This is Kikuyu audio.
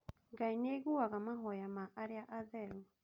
Ngai nĩ aiguaga mahoya ma arĩa atheru.